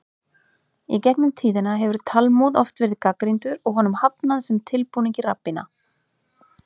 Í gegn um tíðina hefur Talmúð oft verið gagnrýndur og honum hafnað sem tilbúningi rabbína.